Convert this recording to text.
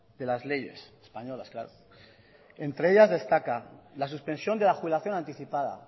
de las leyes españolas claro entre ellas destaca la suspensión de la jubilación anticipada a